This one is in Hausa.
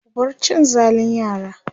ku bar cin zalin yara!